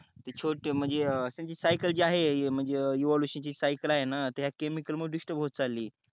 ते छोट म्हणजे ते सायकल जे आहे म्हणजे evolution ची जे सायकल आहे ना त ते या केमिकल मुळ डिस्टर्ब होत चालली